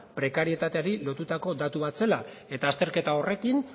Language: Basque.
prekarietateri lotutako datu bat zela eta azterketa horrekin